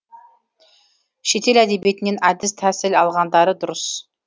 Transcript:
шетел әдебиетінен әдіс тәсіл алғандары дұрыс